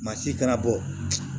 Masi kana bɔ